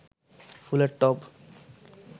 ফুলের টব